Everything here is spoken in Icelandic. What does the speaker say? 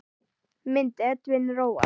Mynd: Edwin Roald.